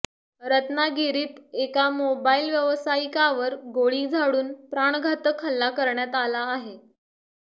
रत्नागिरीत एका मोबाईल व्यवसायिकावर गोळी झाडून प्राणघातक हल्ला करण्यात आला आहे